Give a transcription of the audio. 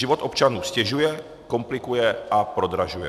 Život občanům ztěžuje, komplikuje a prodražuje.